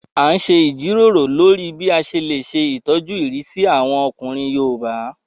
A n ṣe ìjíròrò lórí bí a ṣe lè ṣe ìtọ́jú ìrísí àwọn ọkùnrin yoòbá